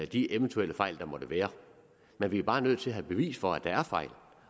de eventuelle fejl der måtte være men vi er bare nødt til at have bevis for at der er fejl